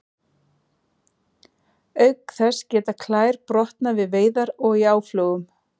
Auk þess geta klær brotnað við veiðar og í áflogum.